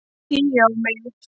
Hí á mig!